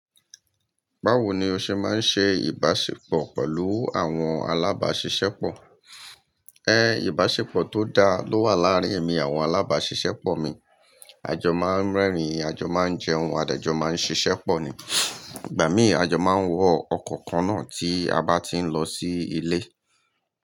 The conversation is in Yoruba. Báwo ni o ṣe máa ń ṣe ìbáṣepọ̀ pẹ̀lú àwọn alábáṣiṣẹ́pọ̀? Ẹ, ìbáṣepọ̀ tó dá ló wà láàárín èmi àwọn alábáṣiṣẹ́pọ̀ mi. Àjọ máa ń rẹ́rìn, àjọ máa ń jẹun, à dé jọ máa ń ṣiṣẹ́ pọ̀ ni. Ìgbà mí àjọ máa ń wọ ọkọ̀ kan náà tí a bá ti ń lọ sí ilé.